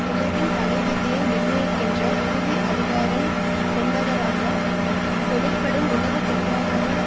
உலகின் தலைவிதியை நிர்ணயிக்கின்ற இறுதி அதிகாரம் கொண்டவராக தொழிற்படும் உலக பொருளாதார